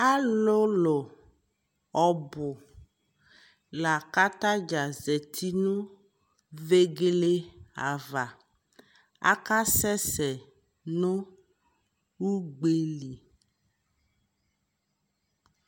Alʋlʋ ɔbu la ka atadza zati nʋvegele ava Akasɛsɛ nʋ ugbe lι